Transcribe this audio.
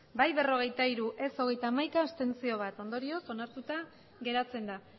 bai berrogeita hiru ez hogeita hamaika abstentzioak bat ondorioz onartuta geratzen da